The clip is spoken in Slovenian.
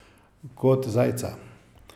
Kot zajca.